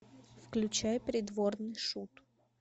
включай придворный шут